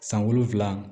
San wolonwula